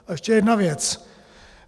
A ještě jedna věc.